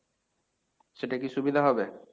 সেটা কী সুবিধা হবে?